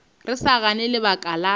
re sa gane lebaka la